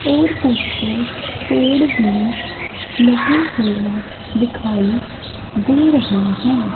और कुछ पेड़ भी लगे हुए दिखाई दे रहें हैं।